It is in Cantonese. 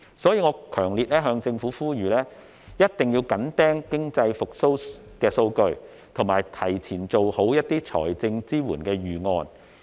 所以，我強烈向政府呼籲，一定要緊盯經濟復蘇的數據，提前做好財政支援的預案。